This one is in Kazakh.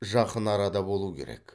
жақын арада болуы керек